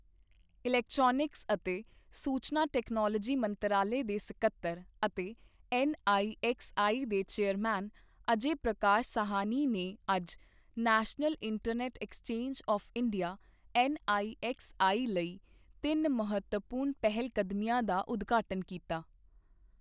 Electronics ਅਤੇ ਸੂਚਨਾ technology ਮੰਤਰਾਲੇ ਦੇ ਸਕੱਤਰ ਅਤੇ ਐਨਆਈਐਕਸਆਈ ਦੇ ਚੇਅਰਮੈਨ ਅਜੈ ਪ੍ਰਕਾਸ਼ ਸਾਹਨੀ ਨੇ ਅੱਜ National Internet Exchange of India NIXI ਲਈ ਤਿੰਨ ਮਹੱਤਵਪੂਰਨ ਪਹਿਲਕਦਮੀਆਂ ਦਾ ਉਦਘਾਟਨ ਕੀਤਾ।